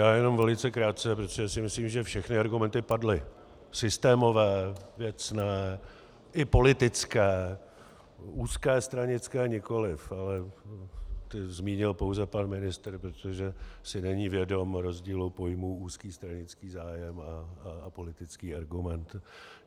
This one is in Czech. Já jenom velice krátce, protože si myslím, že všechny argumenty padly - systémové, věcné i politické, úzké stranické nikoliv, ale ty zmínil pouze pan ministr, protože si není vědom rozdílu pojmů úzký stranický zájem a politický argument.